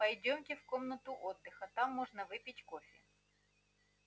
пойдёмте в комнату отдыха там можно выпить кофе